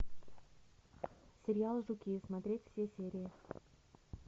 сериал жуки смотреть все серии